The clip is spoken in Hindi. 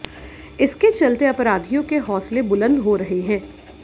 इसके चलते अपराधियों के हौंसले बुलंद हो रहे हैं